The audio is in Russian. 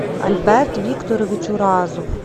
альберт викторович уразов